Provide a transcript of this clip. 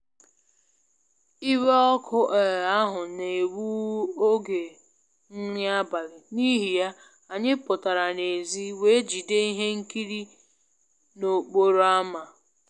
Iwe ọkụ um ahụ na-egbu oge nri abalị, n'ihi ya, anyị pụtara n'èzí wee jide ihe nkiri n'okporo ámá